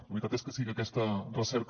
la veritat és que sí que aquesta recerca